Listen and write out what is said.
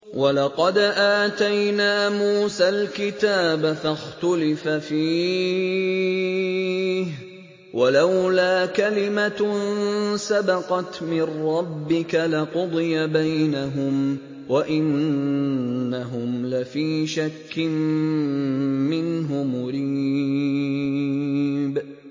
وَلَقَدْ آتَيْنَا مُوسَى الْكِتَابَ فَاخْتُلِفَ فِيهِ ۚ وَلَوْلَا كَلِمَةٌ سَبَقَتْ مِن رَّبِّكَ لَقُضِيَ بَيْنَهُمْ ۚ وَإِنَّهُمْ لَفِي شَكٍّ مِّنْهُ مُرِيبٍ